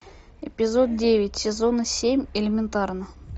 эпизод девять сезона семь элементарно